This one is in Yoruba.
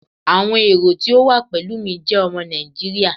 Awọn ero ti o wa pẹlu mi jẹ ọmọ Naijiria